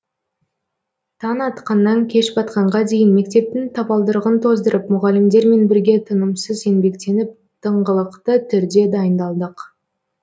таң атқаннан кеш батқанға дейін мектептің табалдырығын тоздырып мұғалімдермен бірге тынымсыз еңбектеніп тыңғылықты түрде дайындалдық